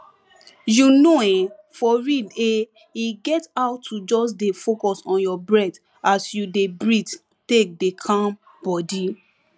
you know[um]for real eh e get how to just dey focus on your breath as you dey breathe take dey calm body